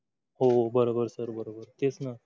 हो बरोबर sir बरोबर तेच ना.